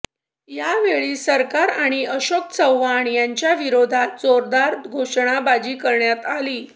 यावेळी सरकार आणि अशोक चव्हाण यांच्या विरोधात जोरदार घोषणाबाजी करण्यात आली